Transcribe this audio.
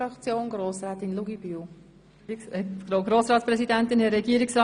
Deshalb lehnen wir diese Anträge ab.